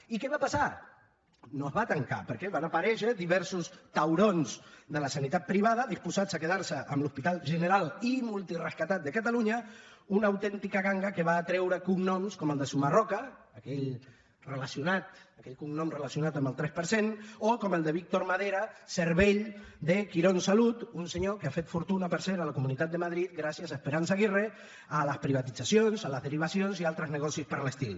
i què va passar no es va tancar perquè van aparèixer diversos taurons de la sanitat privada disposats a quedar se amb l’hospital general i multirescatat de catalunya una autèntica ganga que va atreure cognoms com el de sumarroca aquell cognom relacionat amb el tres per cent o com el de víctor madera cervell de quirónsalud un senyor que ha fet fortuna per cert a la comunitat de madrid gràcies a esperanza aguirre a les privatitzacions a les derivacions i a altres negocis per l’estil